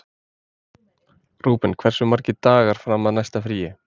Rúben, hversu margir dagar fram að næsta fríi?